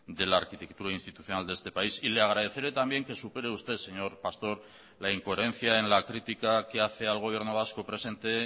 de la arquitectura institucional de este país y le agradeceré también que supere usted señor pastor la incoherencia en la crítica que hace al gobierno vasco presente